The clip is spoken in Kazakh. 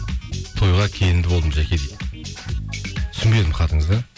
тойға келінді болдым жаке дейді түсінбедім хатыңызды